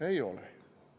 Ei ole.